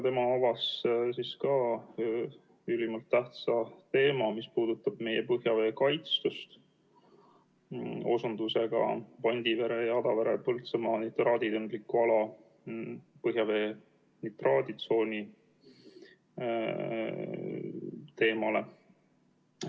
Tema avas ka ülimalt tähtsa teema, mis puudutab meie põhjavee kaitstust, osundusega Pandivere, Adavere ja Põltsamaa nitraaditundliku ala põhjavee nitraaditsooni teemale.